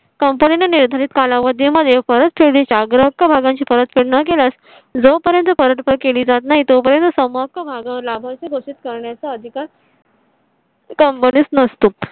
company ने निर्धारित कालावधी मध्ये परतफेडी चा ग्राहक भागांची परतफेड न केल्यास जोपर्यंत परत केली जात नाही, तोपर्यंत समोर का मग लाभच घोषित करण्याचा अधिकार. company स नसतो